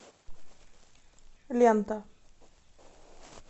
лента